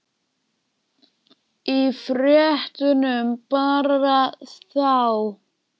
Þorbjörn: Í fréttunum bara þá?